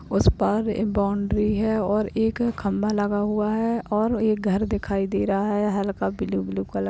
उस पार एक बाउंड्री है और एक खंबा लगा हुआ है और एक घर दिखाई दे रहा हल्का ब्लू-ब्लू कलर --